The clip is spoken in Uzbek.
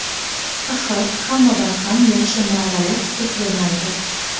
Axir, hammadan ham yaxshi muomala kutib bo‘lmaydi .